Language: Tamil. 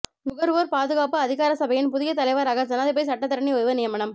நுகர்வோர் பாதுகாப்பு அதிகாரசபையின் புதிய தலைவராக ஜனாதிபதி சட்டத்தரணி ஒருவர் நியமனம்